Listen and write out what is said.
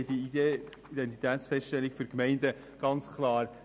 Wir unterstützen die Idee der Identitätsfeststellung für Gemeinden ganz klar.